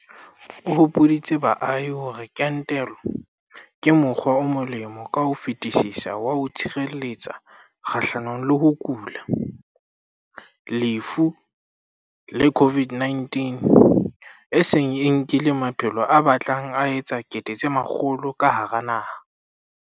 O hopoditse baahi hore kentelo ke mokgwa o molemo ka ho fetisisa wa ho itshireletsa kgahlanong le ho kula, lefu le COVID-19, e seng e nkileng maphelo a batlang a etsa 100 000 ka hara naha.